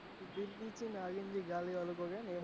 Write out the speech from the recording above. નાલી મેં ગાલી એવું કૈક હેન